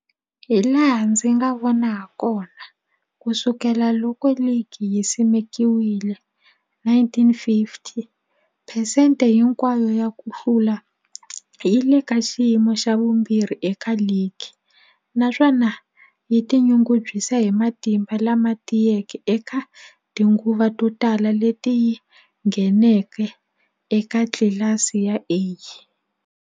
Hilaha ndzi nga vona hakona, ku sukela loko ligi yi simekiwile, 1950, phesente hinkwayo ya ku hlula yi le ka xiyimo xa vumbirhi eka ligi, naswona yi tinyungubyisa hi matimba lama tiyeke eka tinguva to tala leti yi ngheneke eka tlilasi ya A.